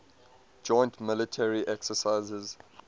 joint military exercises